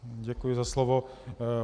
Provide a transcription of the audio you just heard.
Děkuji za slovo.